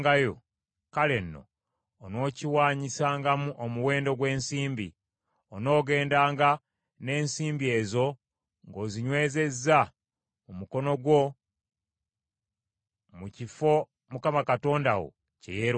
kale nno, onookiwaanyisangamu omuwendo gw’ensimbi. Onoogendanga n’ensimbi ezo ng’ozinywezezza mu mukono gwo mu kifo Mukama Katonda wo kye yeerondera.